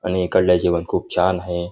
आणि इकडलं जेवण खुप छान आहे.